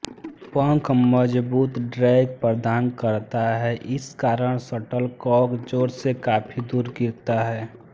पंख मजबूत ड्रैग प्रदान करता है इस कारण शटलकॉक जोर से काफी दूर गिरता है